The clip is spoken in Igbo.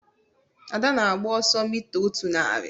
Ada na-agba ọsọ mita otu narị.